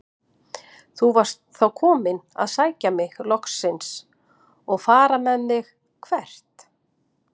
Þú varst þá kominn að sækja mig loksins og fara með mig- hvert?